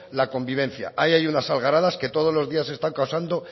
la convivencia ahí hay unas algaradas que todos los días están causando